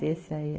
esse aí.